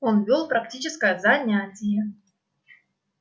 он вёл практическое занятие